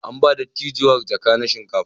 An ba dattijuwar jaka na shinkafa.